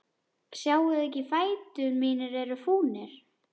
Sjáiði ekki að fætur mínir eru fúnir?